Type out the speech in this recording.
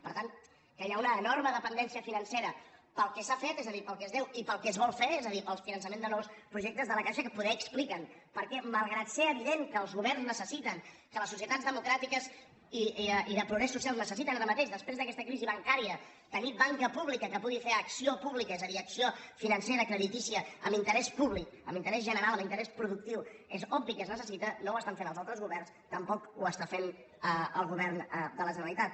per tant hi ha una enorme dependència financera pel que s’ha fet és a dir pel que es deu i pel que es vol fer és a dir pel finançament de nous projectes de la caixa que poder expliquen per què malgrat que és evident que els governs necessiten que les societats democràtiques i de progrés social necessiten ara mateix després d’aquesta crisi bancària tenir banca pública que pugui fer acció pública és a dir acció financera creditícia amb interès públic amb interès general amb interès productiu és obvi que es necessita no ho estan fent els nostres governs tampoc ho està fent el govern de la generalitat